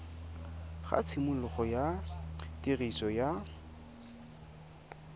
ga tshimologo ya tiriso ya